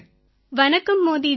வணக்கம் மோதி ஜி